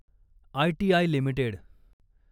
ITI limited